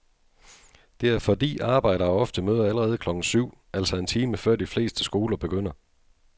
Det er fordi arbejdere ofte møder allerede klokken syv, altså en time før de fleste skoler begynder.